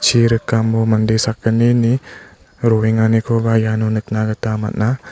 rikamo mande sakgnini roenganikoba iano nikna gita man·a.